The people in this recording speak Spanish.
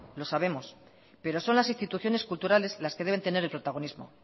lo sabemos pero son las instituciones culturales las que deben tener el protagonismo